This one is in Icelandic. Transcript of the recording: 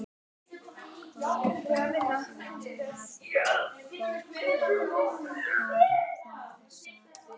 Kolbeinn lánar bók, og hvað þá þessa bók.